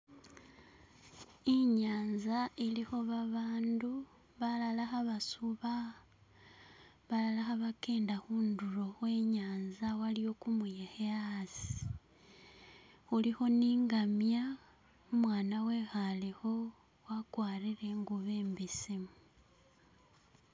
Inyanza ilikho babandu balala khabasuba balala khabakenda khundulo khwe nyanza waliwo kumuyekhe asi, khulikho ne ingamya, umwana bekhale kho wakwarire ingubo imbesemu.